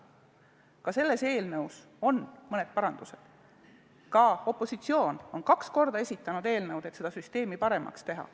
Ka selle eelnõu kohta olid mõned parandused ja opositsioon on kaks korda esitanud sellesisulise eelnõu, et süsteemi paremaks teha.